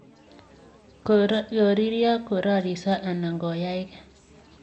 koririo, kororiso anan koyangei''.